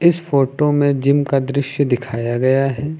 इस फोटो में जिम का दृश्य दिखाया गया है।